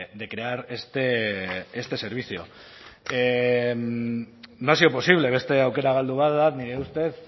de crear este servicio no ha sido posible beste aukera galdu bat da nire ustez